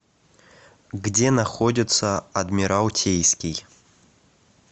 где находится адмиралтейский